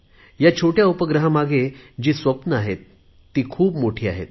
ह्या छोट्या उपग्रहामागे जी स्वप्ने आहेत ती खूप मोठी आहेत